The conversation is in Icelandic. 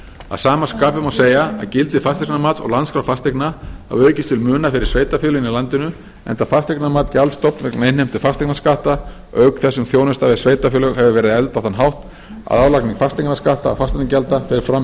að sama skapi má segja að gildi fasteignamats og landskrár fasteigna hafi aukist til muna fyrir sveitarfélögin í landinu enda fasteignamat gjaldstofn vegna innheimtu fasteignaskatta auk þess sem þjónusta við sveitarfélög hefur verið efld á þann hátt að álagning fasteignaskatta og fasteignagjalda fer fram í